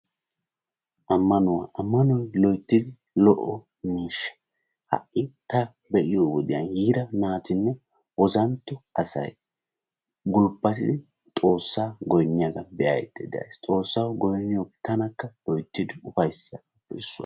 Ammanwu, ammanoy loyttid lo'iyaa miishsha. ha'i taani be'ayo wodiyaan yiira naatinne ozantto asay gulbbatidi Xoossaw goynniyaga be'aydda days. Xoossaw goynniyooge tannakka loytidi ufayssigaappe issuwaa.